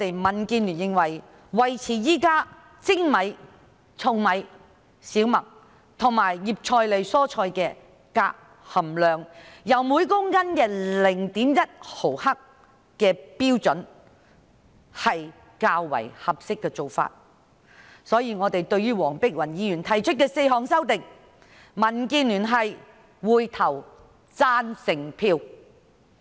民建聯認為，將現時精米、糙米、小麥及葉菜類蔬菜的鎘含量，維持於每公斤 0.1 毫克的標準是較為合適的做法，因此，就黃碧雲議員在擬議決議案中提出的4項修正案，民建聯會投下贊成票。